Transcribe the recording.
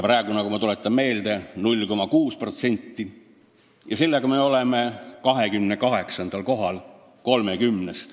Praegu, ma tuletan meelde, on 0,6% ja sellega me oleme 30 riigi seas 28. kohal.